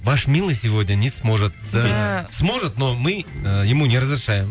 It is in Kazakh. ваш милый сегодня не сможет да сможет но мы ему не разрешаем